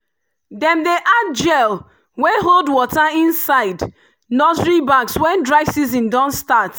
dem dey add gel wey hold water inside nursery bags when dry season don start.